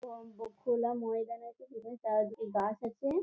এবং ব খোলা ময়দান আছে যেখানে চারিদিকে গাছ আছে।